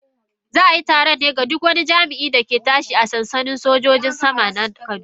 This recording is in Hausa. Za a yi taron ne ga duk wani jami'in da ke tashi a sansanin sojojin sama na kaduna.